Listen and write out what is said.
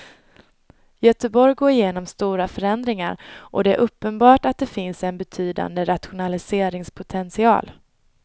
Göteborg går igenom stora förändringar och det är uppenbart att det finns en betydande rationaliseringspotential.